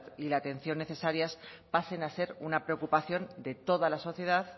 y la atención necesarias pasen a ser una preocupación de toda la sociedad